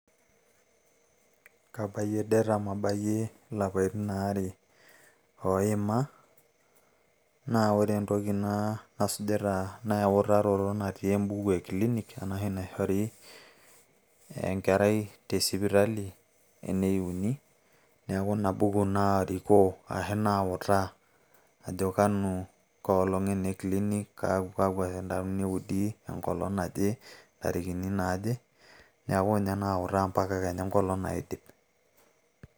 Kabayie det amu abayie ilapaitin aare oima, na ore entoki nasujita na eutaroto natii ebuku e klinik, enashi naishori enkerai tesipitali eneuni, neeku inabuku narikoo ashu nautaa ajo kanu, kaa olong' ene klinik kakwa kanyioo eudi tenkolong' naje, intarikini naaje. Neeku ninye nautaa mpaka kenya enkolong' naidip.